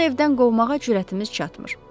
Onu evdən qovmağa cürətimiz çatmır.